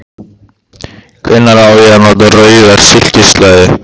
Hvenær á ég að nota rauða silkislæðu?